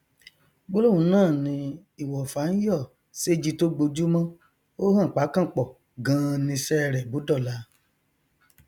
gbólóhùn náà ni ìwọfà ń yọ séji tó gbojúmọ ó hàn pákànpọ ganan niṣẹ rẹ bó dọla